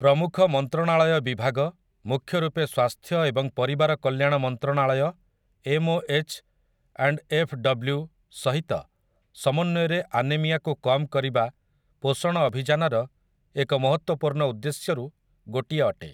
ପ୍ରମୁଖ ମନ୍ତ୍ରଣାଳୟ ବିଭାଗ, ମୁଖ୍ୟ ରୂପେ ସ୍ୱାସ୍ଥ୍ୟ ଏବଂ ପରିବାର କଲ୍ୟାଣ ମନ୍ତ୍ରଣାଳୟ ଏମ୍ଓଏଚ୍ ଆଣ୍ଡ୍ ଏଫ୍‌ଡବ୍ଲୁ ସହିତ ସମନ୍ୱୟରେ ଆନେମିଆକୁ କମ୍ କରିବା ପୋଷଣ ଅଭିଯାନର ଏକ ମହତ୍ତ୍ବପୂର୍ଣ୍ଣ ଉଦ୍ଦେଶ୍ୟରୁ ଗୋଟିଏ ଅଟେ ।